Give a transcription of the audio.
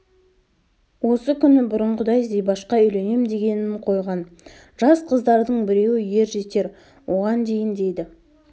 осы күні бұрынғыдай зибашқа үйленем дегенін қойған жас қыздардың біреуі ер жетер оған дейін дейді